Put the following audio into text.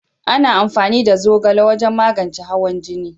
Ana amfani da zogale wajen magance hawan jini